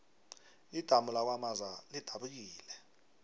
idamu lakwamaza lidabukile